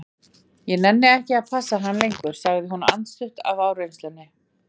Ég nenni ekki að passa hann lengur, sagði hún andstutt af áreynslunni.